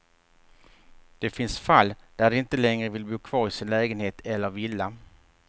Det finns fall där de inte längre vill bo kvar i sin lägenhet eller villa.